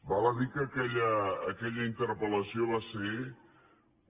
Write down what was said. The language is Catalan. val a dir que aquella interpel·lació va ser un